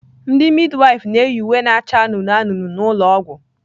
Ndị midwife na-eyi uwe na-acha anụnụ anụnụ n'ụlọ ọgwụ.